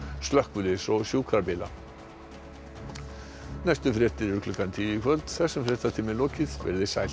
slökkviliðs og sjúkrabíla næstu fréttir eru klukkan tíu í kvöld þessum fréttatíma er lokið veriði sæl